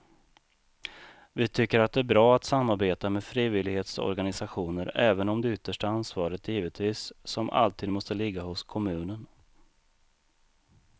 Vi tycker att det är bra att samarbeta med frivillighetsorganisationer även om det yttersta ansvaret givetvis som alltid måste ligga hos kommunen.